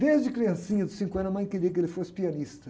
Desde criancinha, dos cinco anos, a mãe queria que ele fosse pianista.